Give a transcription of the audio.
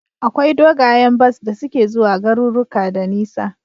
Akwai dogayen bas da suke zuwa garuruka da nisa